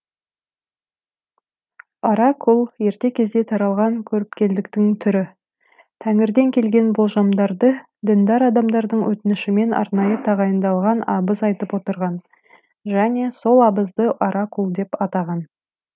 оракул ерте кезде таралған көріпкелдіктің түрі тәңірден келген болжамдарды діндар адамдардың өтінішімен арнайы тағайындалған абыз айтып отырған және сол абызды оракул деп атаған